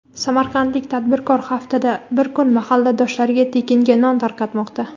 Samarqandlik tadbirkor haftada bir kun mahalladoshlariga tekinga non tarqatmoqda.